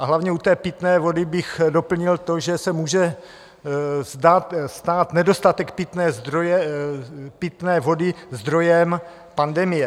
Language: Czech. A hlavně u té pitné vody bych doplnil to, že se může stát nedostatek pitné vody zdrojem pandemie.